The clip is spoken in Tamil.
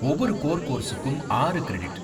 ஒவ்வொரு கோர் கோர்ஸுக்கும் ஆறு கிரெடிட்